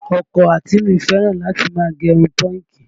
Ọkọ àǹtí mi fẹ́ràn láti máa gẹ irun pọ́ǹkì